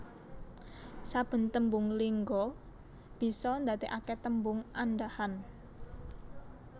Saben tembung lingga bisa ndadekake tembung andhahan